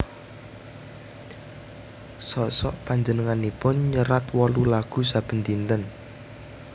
Sok sok panjenenganipun nyerat wolu lagu saben dinten